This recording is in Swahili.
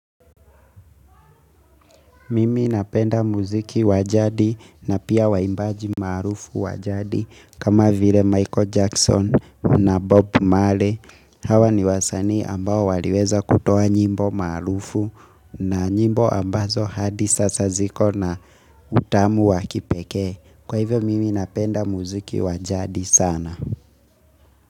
Mimi napenda muziki wa jadi na pia waimbaji maarufu wa jadi kama vile Michael Jackson na Bob Marley. Hawa ni wasanii ambao waliweza kutowa nyimbo maarufu na nyimbo ambazo hadi sasa ziko na utamu wakipekee. Kwa hivyo mimi napenda muziki wa jadi sana.